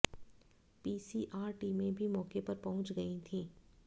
PCR टीमें भी मौके पर पहुंच गई थी